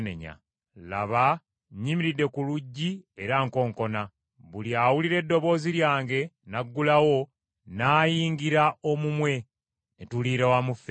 Laba nnyimiridde ku luggi era nkonkona. Buli awulira eddoboozi lyange n’aggulawo, nnaayingira omumwe ne tuliira wamu ffembi.